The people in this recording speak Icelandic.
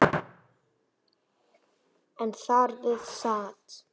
En þar við sat.